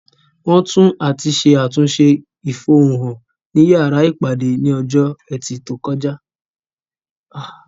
Wọ́n tú àti ṣe àtúnṣe ìfohun-hàn ní yàrá ìpàdé ní ọjọ́ ẹtì tó kọjá